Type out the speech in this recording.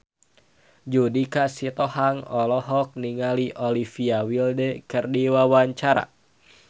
Judika Sitohang olohok ningali Olivia Wilde keur diwawancara